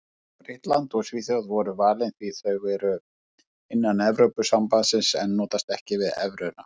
Bretland og Svíþjóð voru valin því þau eru innan Evrópusambandsins en notast ekki við evruna.